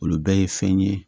Olu bɛɛ ye fɛn ye